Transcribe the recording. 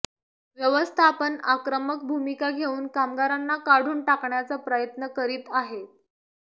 व्यवस्थापन आक्रमक भूमिका घेऊन कामगारांना काढून टाकण्याचा प्रयत्न करीत आहेत